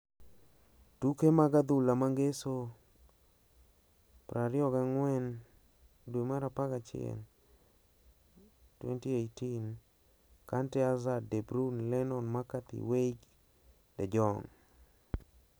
Tuke mag adhula ma Ngeso 24.11.18: Kante, Hazard, De Bruyne, Lennon, McCarthy, Weigl, De Jong